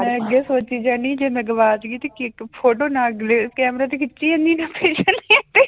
ਮੈਂ ਅੱਗੇ ਸੋਚੀ ਜਾਂਦੀ ਹਾਂ ਜੇ ਮੈਂ ਗਵਾਚ ਗਈ ਤੇ ਕੀ ਇੱਕ photo ਨਾ camera ਤੇ ਖਿੱਚੀ ਜਾਂਦੀ